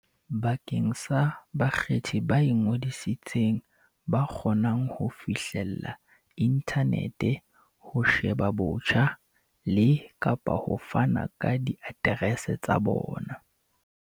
bakeng sa bakgethi ba ingodisitseng ba kgonang ho fihlella inthanete ho sheba botjha le, kapa ho fana ka diaterese tsa bona.